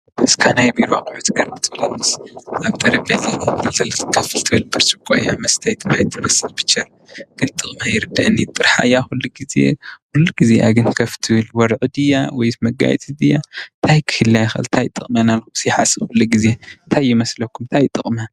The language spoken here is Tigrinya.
ናይ ቢሮ ኣቁሑት ኮይና ኣብ ጠረጴዛ ኮፍ ትብል መስተይ ማይ ትመስል ጥርሓ እያ ክሉግዜ ወረቀት ድያ መጋየፂ ድያ እንታይ እዩ ጥቅማ?